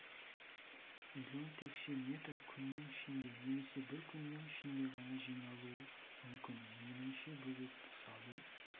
млн текше метр күннің ішінде немесе бір күннің ішінде ғана жиналуы мүмкін меніңше бөгетті салу